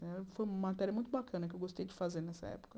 Foi uma matéria muito bacana que eu gostei de fazer nessa época.